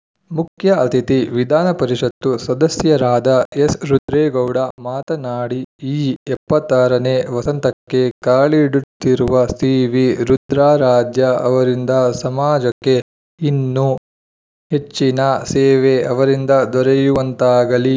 ಮುಖ್ಯ ಅತಿಥಿ ವಿಧಾನ ಪರಿಷತ್ತು ಸದಸ್ಯರಾದ ಎಸ್‌ರುದ್ರೇಗೌಡ ಮಾತನಾಡಿ ಈ ಎಪ್ಪತ್ತ್ ಆರನೇ ವಸಂತಕ್ಕೆ ಕಾಲಿಡುತ್ತಿರುವ ಸಿವಿ ರುದ್ರಾರಾಧ್ಯ ಅವರಿಂದ ಸಮಾಜಕ್ಕೆ ಇನ್ನೂ ಹೆಚ್ಚಿನ ಸೇವೆ ಅವರಿಂದ ದೊರೆಯುವಂತಾಗಲಿ